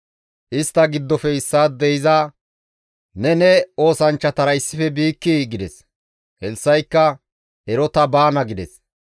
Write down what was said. Istta giddofe issaadey iza, «Neni ne oosanchchatara issife biikkii?» gides. Elssa7ikka, «Ero ta baana» gides.